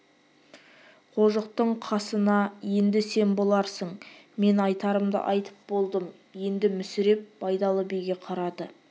қожықтың қасында енді сен боларсың мен айтарымды айтып болдым енді мүсіреп байдалы биге қарады